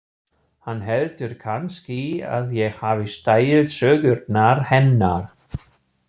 Hann heldur kannski að ég hafi stælt sögurnar hennar.